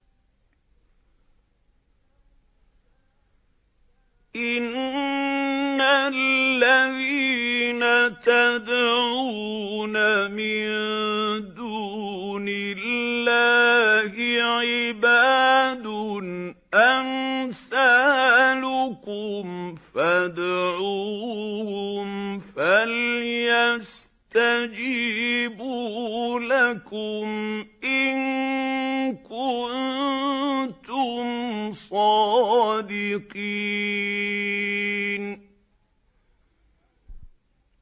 إِنَّ الَّذِينَ تَدْعُونَ مِن دُونِ اللَّهِ عِبَادٌ أَمْثَالُكُمْ ۖ فَادْعُوهُمْ فَلْيَسْتَجِيبُوا لَكُمْ إِن كُنتُمْ صَادِقِينَ